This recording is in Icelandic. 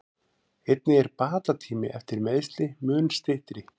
Einnig er bata tími eftir meiðsli mun styttri.